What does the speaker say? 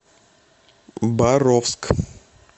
боровск